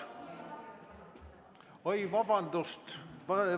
Oi, vabandust!